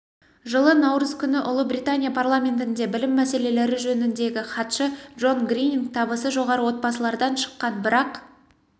жылы наурыз күні ұлыбритания парламентінде білім мәселелері жөніндегі хатшы дж грининг табысы жоғары отбасылардан шыққан бірақ